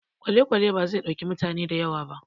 Kwalekwale bazai ɗauki mutane da yawa ba